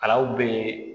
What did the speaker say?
Alaw bɛ